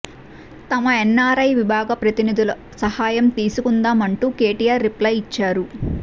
తమ ఎన్ఆర్ఐ విభాగం ప్రతినిధుల సహాయం తీసుకుందామంటూ కేటీఆర్ రిప్లై ఇచ్చారు